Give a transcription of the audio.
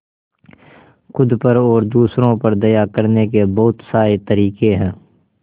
खुद पर और दूसरों पर दया करने के बहुत सारे तरीके हैं